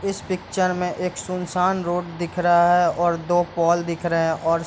इस पिक्चर में एक सुनसान रोड दिख रहा है और दो पोल दिख रहे हैं और --